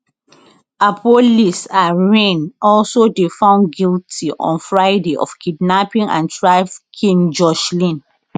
appollis and rhyn also dey found guilty on friday of kidnapping and trafficking joshlin